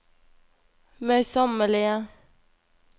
møysommelige